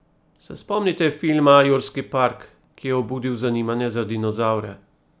Se spomnite filma Jurski park, ki je obudil zanimanje za dinozavre?